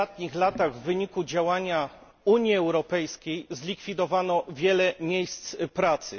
W ostatnich latach w wyniku działania Unii Europejskiej zlikwidowano wiele miejsc pracy.